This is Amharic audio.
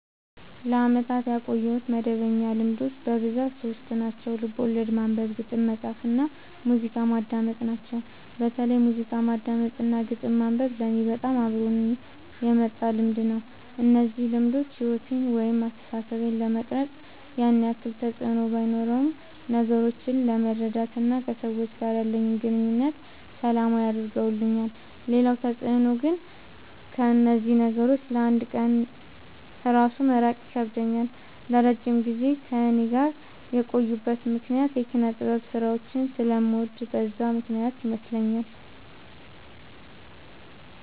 ለአመታት ያቆየሁት መደበኛ ልማዶች በብዛት ሶስት ናቸው። ልቦለድ ማንበብ፣ ግጥም መፃፍ እና ሙዚቃ ማዳመጥ ናቸው። በተለይ ሙዚቃ ማዳመጥ እና ግጥም ማንበብ ለኔ በጣም አብሮኝ የመጣ ልምድ ነው። እነዚህ ልማዶች ሕይወቴን ወይም አስተሳሰቤን ለመቅረጽ ያን ያክል ተፅዕኖ ባኖረውም ነገሮችን ለመረዳት እና ከሰዎች ጋር ያለኝን ግንኙነት ሰላማዊ አድርገውልኛል ሌላው ተፅዕኖ ግን ከእነዚህ ነገሮች ለ አንድ ቀን እራሱ መራቅ ይከብደኛል። ለረጅም ጊዜ ከእኔ ጋር የቆዩበት ምክንያት የኪነጥበብ ስራዎችን ስለምወድ በዛ ምክንያት ይመስለኛል።